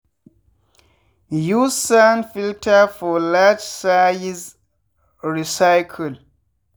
use sand filter for large size recycle.